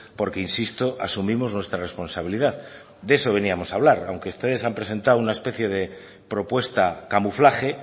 porque insisto asumimos nuestra responsabilidad de eso veníamos a hablar aunque ustedes han presentado una especie de propuesta camuflaje